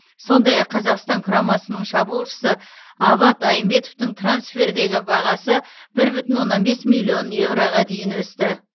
сондай ақ қазақстан құрамасының шабуылшысы абат айымбетовтің трансфердегі бағасы бір бүтін оннан бес миллион еуроға дейін өсті